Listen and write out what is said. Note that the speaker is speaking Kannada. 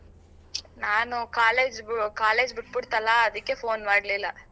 ನಾನು college college ಬಿಟ್ಬುಡ್ತಲ್ಲ ಅದಿಕ್ಕೆ phone ಮಾಡ್ಲಿಲ್ಲ.